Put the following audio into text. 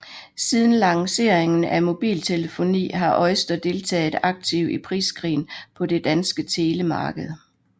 Siden lanceringen af mobiltelefoni har OiSTER deltaget aktivt i priskrigen på det danske telemarked